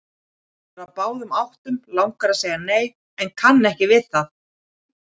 Hann er á báðum áttum, langar að segja nei en kann ekki við það.